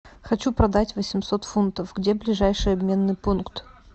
хочу продать восемьсот фунтов где ближайший обменный пункт